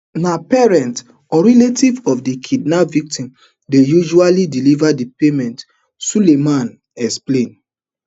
na parent or relative of di kidnap victim dey usually deliver di payment sulaiman explain